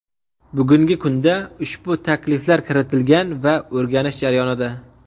Bugungi kunda ushbu takliflar kiritilgan va o‘rganish jarayonida.